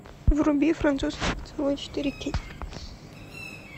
вруби французский поцелуй четыре кей